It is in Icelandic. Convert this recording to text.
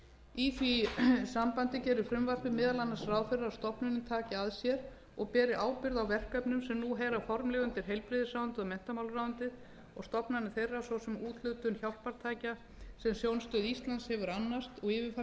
í því sambandi gerir frumvarpið meðal annars ráð fyrir að stofnunin taki að sér og beri ábyrgð á verkefnum sem nú heyra formlega undir heilbrigðisráðuneytið og menntamálaráðuneytið og stofnanir þeirra svo sem úthlutun hjálpartækja sem sjónstöð íslands hefur annast